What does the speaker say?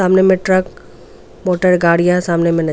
सामने में truck motor गाड़ियां सामने में.